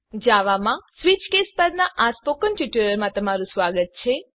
જાવામાં switch case પરના spoken ટ્યુટોરીયલમાં તમારું સ્વાગત છે